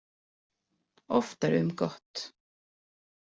Oftar um gott.